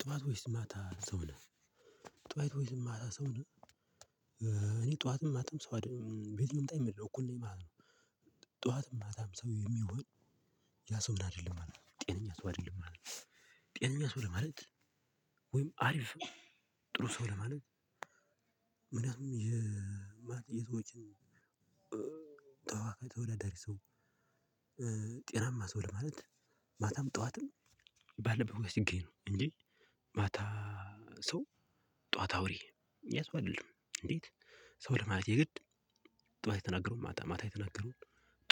ጥዋት ወይስ ማታ ሰው ነህ? ጥዋት ወይስ ማታ ሰው ነህ እኔ ጥዋትም ማታም ሰው አይደለም ቤየትም ታም እኩል ነኝ ማለት ነው። ጥዋትም ማታም ሰው የሚሆን። ያ ሰውን አይደለም ማለት ነው ጤነኛ ሰው አይደለም ማለት ነው። ጤነኛ ሰው ለማለት ወይም አሪፍ ጥሩ ሰው ለማለት። ምናምን የማ የሰዎችን ተዋካይ ተወዳዳሪ ሰው። ጤናማ ሰው ለማለት። ማታም ጥዋትም ባለበት ስኬድ እንጂ ማታ ሰው። ጥዋት አውሬ ያ ሰው አይደለም እንዴት? ሰው ለማለት የግድ ጥዋት የተናገረውን ማታ ማታ የተናገረውን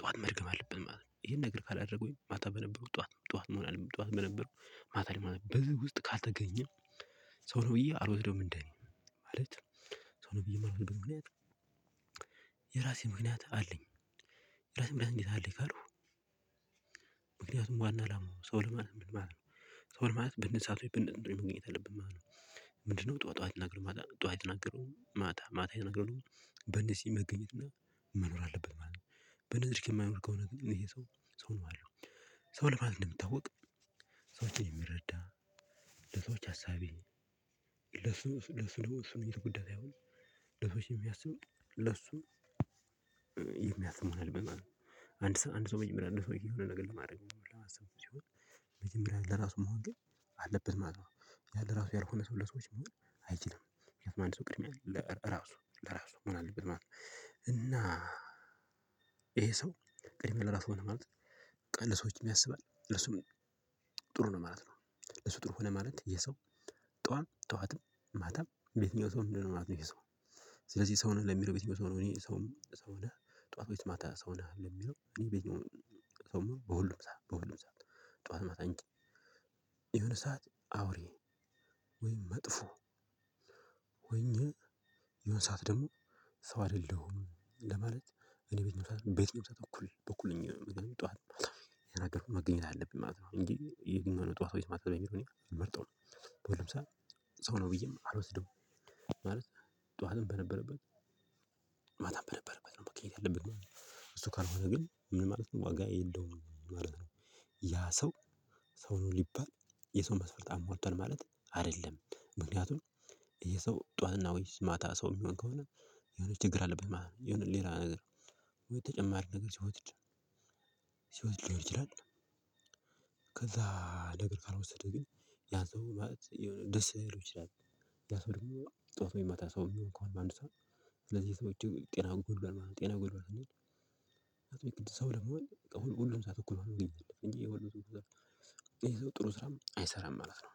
ጥዋት መድገም አለበት ማለት ነው። ይሄን ነገር ካላደረገው ማታ በነበረው ጥዋት ጥዋት መሆን አለበት ጥዋት በነበረው ማታ ላይ በዚህ ውስጥ ካልተገኘ ሰው ነው ብዬ አልወስደውም። እንዴ ማለት ሰው ነው ብዬ የራሴ ምክንያት አለኝ። የራሴ ምክንያት እንዴት አለኝ ካልኩ። ምክንያቱም ዋና አላማው ሰው ለማለት ምን ማለት ነው። ሰው ለማለት ብንሰጠው ብንገኝበት ወይ መገኘት የለብህም ማለት ነው። ምንድነው? ጥዋት ጥዋት የተናገረው ማታ ጥዋት የተናገረው ማታ ማታ የተናገረው በነዚህ መገኘት እና መኖር አለበት ማለት ነው። በነዚህ የማይኖር ከሆነ ግን ይህ ሰው ሰው ነው ያለው። ሰው ለማለት እንደምታወቅ ሰዎችን የሚረዳ ለሰዎች አሳቢ። ለሱ ለሱ ነው ለሱ ጉዳይ ሳይሆን። ለሰዎች የሚያስብ ለሱ የሚያስብ እና ለመናገር አንድ ሰው በመጀመሪያ እንደዚህ የሆነ ነገር ለማድረግ ሲሆን። በመጀመሪያ ለራሱ መሆን ግን አለበት ማለት ነው። ያን ለራሱ ያልሆነ ሰው ለሰው መሆን አይችልም። የትም አንድ ሰው ቅድሚያ ለራሱ ለራሱ መሆን አለበት ማለት ነው። እና ይሄ ሰው ቅድሚያ ለራሱ ሆነ ማለት ቀን ለሰዎችም ያስባል ለእርሱም ጥሩ ነው ማለት ነው። እሱ ጥሩ ሆነ ማለት ይህ ሰው ጥዋት ጥዋት ነው ማታም በየትኛው ሰው ምንድነው? ማለት ነው ይሄ ሰው። ስለዚህ ሰው ለሚለው ቤተኛው ሰው ነው እኔ ሰው። ጥዋት ወይስ ማታ ሰው ነህ? ለሚለው እኔ በየትኛውም ሰው መሆን በሁሉም ሰዓት በሁሉም ሰዓት ጠዋት መታም። የሆነ ሰዓት አውሬ ወይም መጥፎ። ወይን የህነ ሰዓት ደግሞ ሰው አይደለሁም ለማለት። እኔ ቤት መስራት ቤት መስራት በኩል በኩል ነኝ ጥዋት የናገርኩት መገኘት አለብኝ ማለት ነው። እንጂ የግብር ጥዋት ወይ ማታ ነው የሚለውን መርጠው ነው። በሁለት መቶ ሰው ነው ብዬ አልወስደውም። ማለት ጥዋትም በነበረበት ማታ በነበረበት ነው መገኘት ያለበት። እሱ ካልሆነ ግን ምን ማለት ነው? ዋጋ የለውም ማለት ነው። ያ ሰው ሰው ነው ልባል የሰው መሰረት አሟልቷል ማለት አይደለም። ምክንያቱም ይሄ ሰው ጥዋትና ወይስ ማታ ሰው የሚሆን ከሆነ የሆነ ችግር አለበት ማለት ነው። የሆነ ሌላ ነገር ወይ ተጨማሪ ነገር ሲወስድ ልሆን ይችላል። ከዛ ነገር ካልወሰደ ግን ያ ሰው ማለት የሆነ ደስ ልል ይችላል። ያ ሰው ደግሞ ጥዋት ወይ ማታ ሰው የሚሆን ከሆነ በአንድ ሰው ስለዚህ ሰዎች ጤናውን ጎሏል ማለት ነው። ጤናውን ጎሏል ስንል። እንጂ ቅድስት ሰው ለመሆን ሁሉም ሰዓት እኩል ሆኖ ይገኛል እንጂ የወሎ የዛው ጥሩ ስራም አይሰራም ማለት ነው።